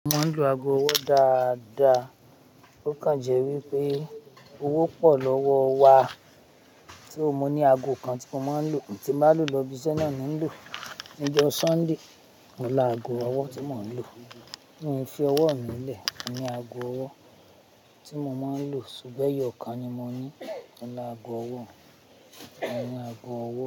Mo ń lo aago ọwọ́ dáadáa. Ó kàn jẹ́ wípé owó pọ̀ lọ́wọ́ wa so mo ní aago kan tí mo máa ń lò ntí n ba lò lọ ibiṣẹ́ náà ni ń lò. Ni ọjọ́ Sunday, mo laago ọwọ́ tí mò ń lò. Min fi ọwọ́ mi lẹ̀ mo ni aago ọwọ́ tí mo máa ń lò ṣùgbọ́n ẹ̀yọ̀ kan ni mo ní mo ni aago ọwọ́, mo ni aago ọwọ́